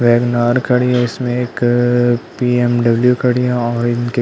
WagonR खड़ी है इसमें एक बी.एम.डब्लू. खड़ी है और इनके --